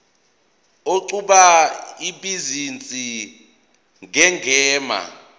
oqhuba ibhizinisi ngegama